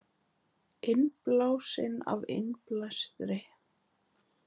Innblásinn af innblæstri